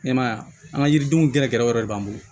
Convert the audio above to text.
Ne m'a ye a ka yiridenw gɛrɛgɛrɛw de b'an bolo